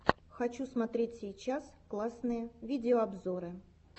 хочу смотреть сейчас классные видеообзоры